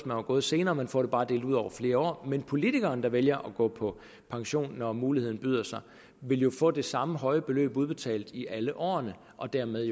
var gået senere man får det bare delt ud over flere år men politikeren der vælger at gå på pension når muligheden byder sig ville få det samme høje beløb udbetalt i alle årene og dermed